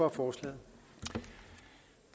af forslag